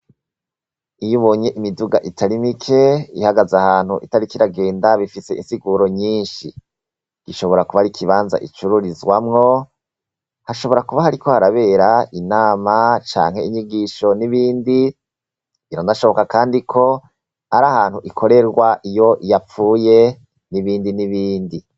Iyo ubonye imiduga itari mike ihagaze ahantu itariko iragenda bifise insiguro nyinshi gishobora kuba ari ikibanza icururizwamwo hashora kuba hariko harabera inama, inyigisho canke nibindi biranashoboka kandi ko ari ahantu ikorerwa iyo yapfuye nibindi nibindi.